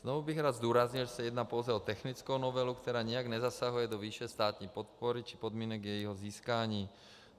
Znovu bych rád zdůraznil, že se jedná pouze o technickou novelu, která nijak nezasahuje do výše státní podpory či podmínek jejího získání.